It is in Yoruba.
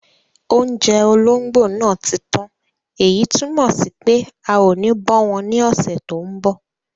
Oúnjẹ ológbò náà ti tán èyí tún mọ̀ sí pé a ò ní bọ́ wọn ní ọ̀sẹ̀ tó mbọ̀